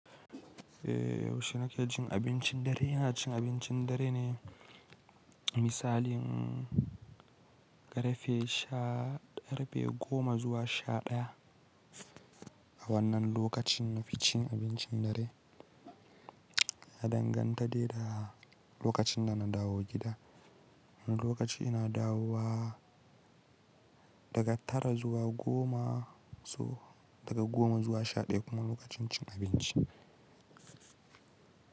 Eh, yaushe nake cin abincin dare, ina cin abincin dare ne misali karfe sha karfe goma zuwa sha ɗaya. A wannan lokacin na fi cin abincin dare, ya danganta dai da lokacin da na dawo gida. Wani lokaci ina dawowa daga tara zuwa goma so daga goma zuwa sha ɗaya, kuma lokacin cin abinci.